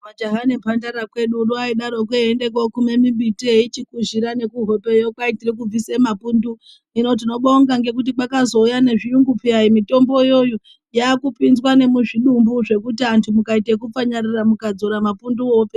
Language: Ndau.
Majaha nemhandara kwedu uno vaidatokwo veiende kokume mimbiti eichipushira nekuhopeyo kwai tirikubvise mapundu hino tinobonga nekuti kwakazouya nezviyungu peya mitombo iyoyo yakupinzwa nemuzvitumbu zvekuti antu mukaita okupfanyaira mukadzora mapunduwo opera.